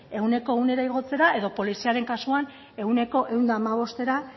ehuneko ehunera igotzera edo poliziaren kasuan ehuneko ehun eta hamabostera